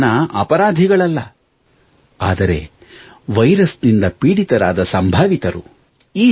ಈ ಜನರು ಅಪರಾಧಿಗಳಲ್ಲ ಆದರೆ ವೈರಸ್ ನಿಂದ ಪೀಡಿತರಾದ ಸಂಭಾವಿತರು